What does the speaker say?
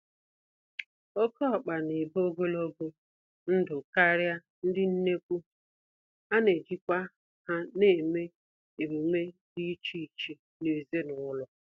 Oké ọkpa n'ebi ogologo ndụ karịa ndị nnekwu, anejikwa ha eme emume dị iche iche nezinụlọ.